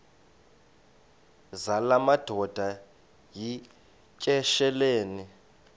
zala madoda yityesheleni